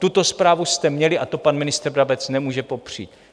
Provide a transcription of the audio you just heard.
Tuto zprávu jste měli a to pan ministr Brabec nemůže popřít.